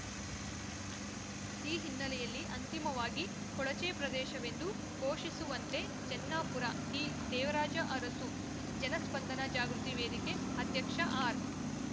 ಈ ಹಿನ್ನೆಲೆಯಲ್ಲಿ ಅಂತಿಮವಾಗಿ ಕೊಳಚೆ ಪ್ರದೇಶವೆಂದು ಘೋಷಿಸುವಂತೆ ಜನ್ನಾಪುರ ಡಿ ದೇವರಾಜ ಅರಸು ಜನಸ್ಪಂದನ ಜಾಗೃತಿ ವೇದಿಕೆ ಅಧ್ಯಕ್ಷ ಆರ್‌